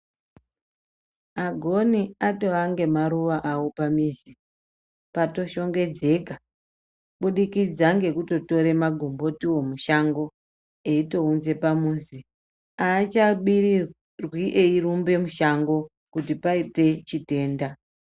Agoni atove ngemaruwa awo pamizi patoshongedzeka kubudikidza ngekutotora magombotiwo mushango eitounza pamuzi. Aachabirirwi eirumba mushango kuti paita chitenda